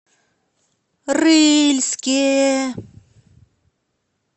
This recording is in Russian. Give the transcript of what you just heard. рыльске